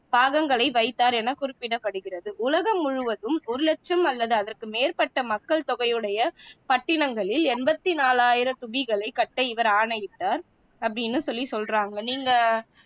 பாகங்களை வைத்தார் என குறிப்பிடப்படுகிறது உலகம் முழுவதும் ஒரு லட்சம் அல்லது அதற்கு மேற்பட்ட மக்கள் தொகையுடைய பட்டிணங்களில் எண்பத்தி நாலாயிரம் தூபிகளைக் கட்ட இவர் ஆணையிட்டார் அப்படின்னு சொல்லி சொல்றாங்க நீங்க